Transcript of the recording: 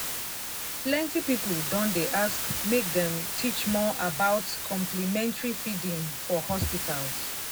plenty people don dey ask make dem teach more about complementary feeding for hospitals.